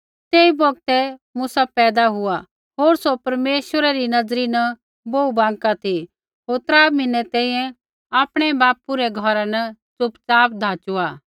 तेई बौगतै मूसा पैदा हुआ होर सौ परमेश्वरै री नज़री न बोहू बाँका ती होर त्रा म्हीनै तैंईंयैं आपणै बापू रै घौरा न चुपचाप धाचुआ